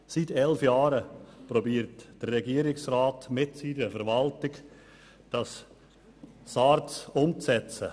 Seit elf Jahren versucht der Regierungsrat mit seiner Verwaltung die SARZ umzusetzen.